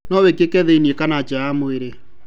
No wĩkĩke thĩinĩ kana nja ya mwĩrĩ.